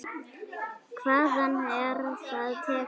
Hvaðan er það tekið?